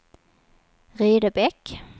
Rydebäck